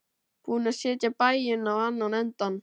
Búin að setja bæinn á annan endann.